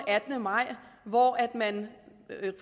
attende maj hvor